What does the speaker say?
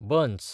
बंस